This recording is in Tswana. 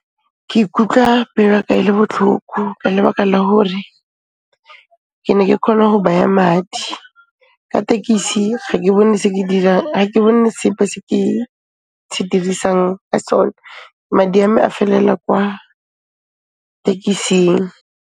Ke ikutlwa pelo ya ka e le botlhoko ka lebaka la hore ke ne ke khona ho baya madi, ka tekisi ga ke bone sepe se ke se dirisang ka sone, madi a me a felela kwa tekising.